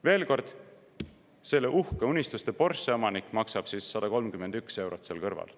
Veel kord: selle uhke, unistuste Porsche omanik maksab 131 eurot seal kõrval.